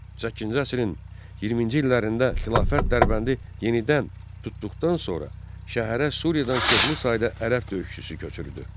Səkkizinci əsrin 20-ci illərində xilafət Dərbəndi yenidən tutduqdan sonra şəhərə Suriyadan çoxlu sayda ərəb döyüşçüsü köçürdü.